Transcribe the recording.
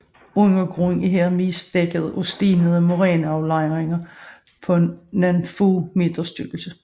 Undergrunden er her mest dækket af stenede moræne aflejringer på nogle få meters tykkelse